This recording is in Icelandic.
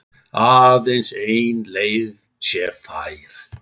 Aðeins ein leið sé fær.